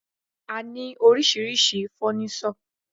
A ní oríṣiríṣi fọ́nísọ̀.